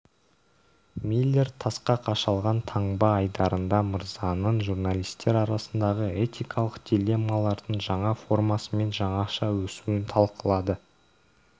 миллер тасқа қашалған таңба айдарында мырзаның журналистер арасындағы этикалық дилеммалардың жаңа формасы мен жаңаша өсуін талқылады